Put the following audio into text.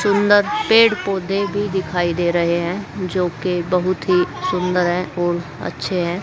सुंदर पेड़ पौधे भी दिखाई दे रहे हैं जो की बहुत सुंदर है और अच्छे हैं।